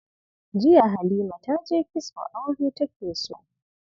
Jiya Halima ta je kitso, aure take so.